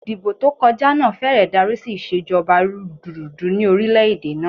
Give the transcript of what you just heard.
Ìdìbò tó kọjá náà fẹ́rẹ̀ darí sí ìṣèjọba rúdurùdu ni orílẹ̀ èdè náà.